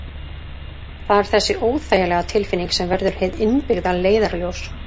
Það er þessi óþægilega tilfinning sem verður hið innbyggða leiðarljós.